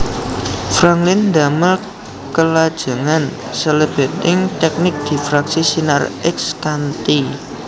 Franklin ndamel kelajengan salebeting tèknik difraksi sinar X kanthi